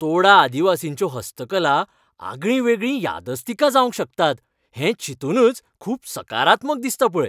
तोडा आदिवासींच्यो हस्तकला आगळींवेगळीं यादस्तिकां जावंक शकतात हें चिंतूनच खूब सकारात्मक दिसता पळय.